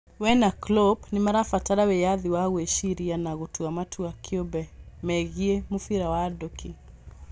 We na Klopp nĩmarabatara wĩyathi wa gwĩciria na gũtua matua kĩũmbe megiĩ mũbira wa nduki